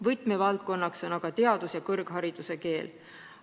Võtmevaldkonnaks on aga teaduskeel ja kõrghariduse keel.